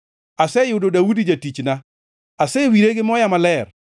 Aseyudo Daudi jatichna; asewire gi moya maler.